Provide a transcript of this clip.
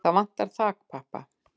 Það vantar þakpappa.